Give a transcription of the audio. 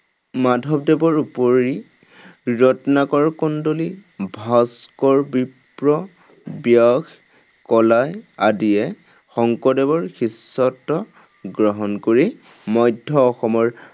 মাধৱদেৱৰ উপৰি ৰত্নাকৰ কন্দলি, ভাস্কৰ বিপ্ৰ, ব্যাস, কলাই আদিয়ে শংকৰদেৱৰ শিষ্যত্ব গ্ৰহণ কৰি মধ্য অসমৰ